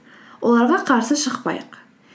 оларға қарсы шықпайық